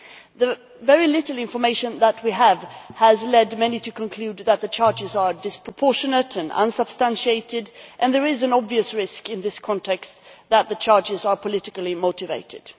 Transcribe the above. The very little information that we have has led many to conclude that the charges are disproportionate and unsubstantiated, and there is an obvious risk in this context that the charges are politically motivated.